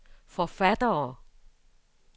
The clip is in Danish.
forfattere